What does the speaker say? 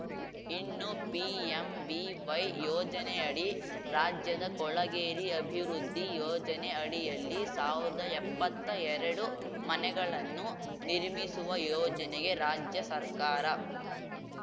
ಇನ್ನು ಪಿಎಂವಿವೈ ಯೋಜನೆಯಡಿ ರಾಜ್ಯದ ಕೊಳಗೇರಿ ಅಭಿವೃದ್ಧಿ ಯೋಜನೆ ಅಡಿಯಲ್ಲಿ ಸಾವ್ರ್ದಾ ಎಪ್ಪತ್ತೆರಡು ಮನೆಗಳನ್ನು ನಿರ್ಮಿಸುವ ಯೋಜನೆಗೆ ರಾಜ್ಯ ಸರ್ಕಾರ